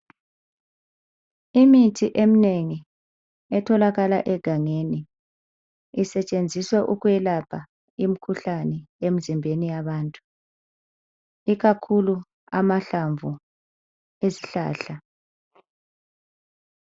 Imithi eminengi etholakala egangeni isetshenziswa ukwelapha imikhuhlane emzimbeni yabantu ikakhulu amahlamvu esihlahla.